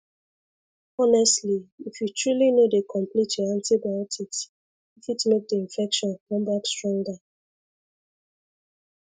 honestly if you truly no dey complete your antibiotics e fit make the infection come back stronger